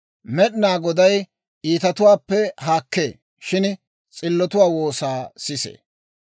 Med'inaa Goday iitatuwaappe haakkee; shin s'illotuwaa woosaa sisee.